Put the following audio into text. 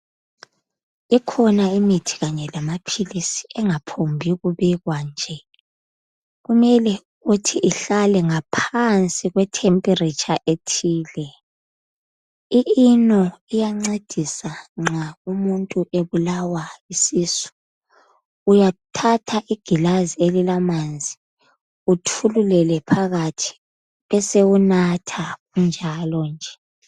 Ikhona imithi kanye lamaphilizi okungaphokubekwa nje kumele ukuthi ihlale ngaphansi kwe thempiritsha ethile. I ino iyancedisa nxa umuntu ebulawa yisisu. Uyathatha igilazi elilamanzi, uthululele phakathi bese usunatha kunjalo nje.